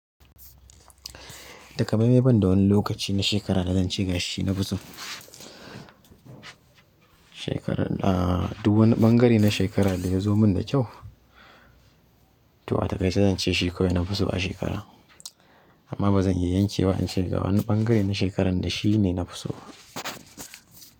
Taka mai mai ban da wani lokaci na shekara da zan ce gashi na fi so. Shekarar ahh duk wani ɓangare na shekara ɗaya zomun da kyau to a takaice zance shi nafi so a shekara amma ba zan iya yanke wa in ce ga wani ɓangare na shekarar da shi ne na fi so ba.